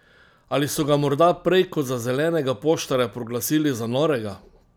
Ali so ga morda prej kot za zelenega poštarja proglasili za norega?